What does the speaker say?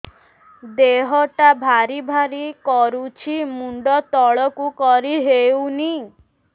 ଦେହଟା ଭାରି ଭାରି କରୁଛି ମୁଣ୍ଡ ତଳକୁ କରି ହେଉନି